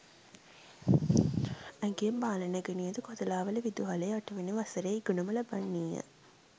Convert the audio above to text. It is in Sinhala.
ඇගේ බාල නැගණියද කොතලාවල විදුහලේ අටවැනි වසරේ ඉගෙනුම ලබන්නීය.